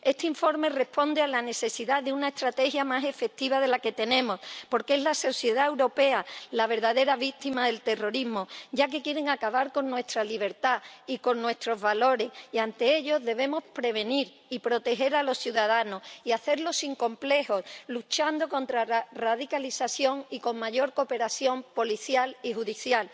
Este informe responde a la necesidad de una estrategia más efectiva de la que tenemos, porque es la sociedad europea la verdadera víctima del terrorismo, ya que quieren acabar con nuestra libertad y con nuestros valores y, ante ello, debemos prevenir y proteger a los ciudadanos, y hacerlo sin complejos luchando contra la radicalización y con mayor cooperación policial y judicial.